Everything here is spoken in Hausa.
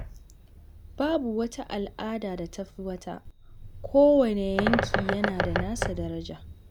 Babu wata al’ada da ta fi wata, kowane yanki yana da nasa daraja.